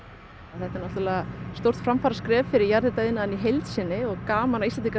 þetta er náttúrulega stórt framfaraskref fyrir jarðhitaiðnaðinn í heild sinni og gaman að Íslendingar